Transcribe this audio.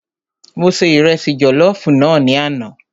Mo se Ìrẹsi jọ̀lọ́fùú náà ní àná.